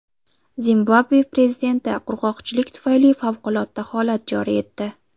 Zimbabve prezidenti qurg‘oqchilik tufayli favqulodda holat joriy etdi.